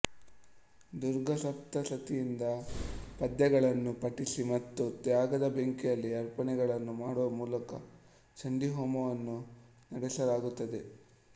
ದುರ್ಗಾ ಸಪ್ತಸತಿಯಿಂದ ಪದ್ಯಗಳನ್ನು ಪಠಿಸಿ ಮತ್ತು ತ್ಯಾಗದ ಬೆಂಕಿಯಲ್ಲಿ ಅರ್ಪಣೆಗಳನ್ನು ಮಾಡುವ ಮೂಲಕ ಚಂಡಿ ಹೋಮವನ್ನು ನಡೆಸಲಾಗುತ್ತದೆ